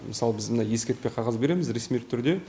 мысалы біз мына ескертпе қағаз береміз ресми түрде